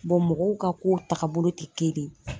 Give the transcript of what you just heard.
mɔgɔw ka ko tagabolo ti kelen.